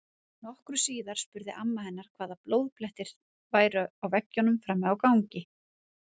Nokkru síðar spurði amma hennar hvaða blóðblettir þetta væru á veggjunum frammi á gangi.